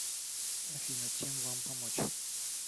афина чем вам помочь